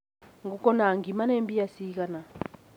ngũkũ na ngima nĩ mbia cigana?